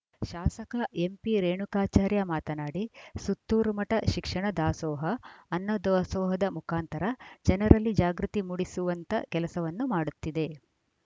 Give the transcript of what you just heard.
ಶಾಸಕ ಎಂಪಿ ರೇಣುಕಾಚಾರ್ಯ ಮಾತನಾಡಿ ಸುತ್ತೂರು ಮಠ ಶಿಕ್ಷಣ ದಾಸೋಹ ಅನ್ನ ದಾಸೋಹದ ಮುಖಾಂತರ ಜನರಲ್ಲಿ ಜಾಗೃತಿ ಮೂಡಿಸುವಂತ ಕೆಲಸವನ್ನು ಮಾಡುತ್ತಿದೆ